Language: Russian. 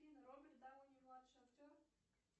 роберт дауни младший актер